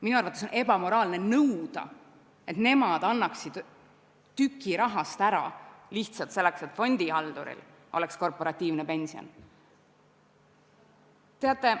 Minu arvates on ebamoraalne nõuda, et nad annaksid tüki rahast ära lihtsalt selleks, et fondihalduril oleks korporatiivne pension.